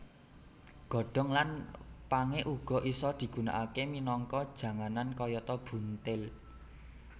Godhong lan pangé uga isa digunakaké minangka janganan kayata buntil